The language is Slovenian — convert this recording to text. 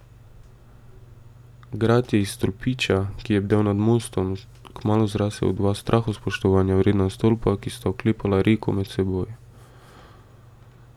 Grad je iz stolpiča, ki je bdel nad mostom, kmalu zrasel v dva strahospoštovanja vredna stolpa, ki sta oklepala reko med seboj.